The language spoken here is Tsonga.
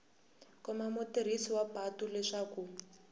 komba mutirhisi wa patu leswaku